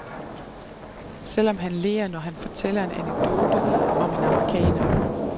Selvom han ler, når han fortæller en anekdote om en amerikaner.